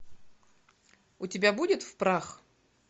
у тебя будет в прах